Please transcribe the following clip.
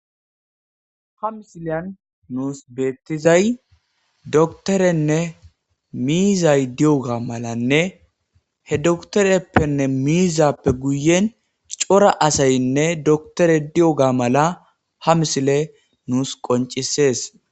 Ha missiliyan nussi bethizay dokteerene mizzayi diyoga malane he dokteriyapene mizappe guyen cora assayinne doktere diyoga mala ha missile nussi qoncisess.